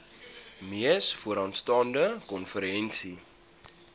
mees vooraanstaande konferensie